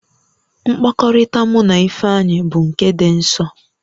Mkpakọrịta mụ na Ifeanyị bụ nke dị nsọ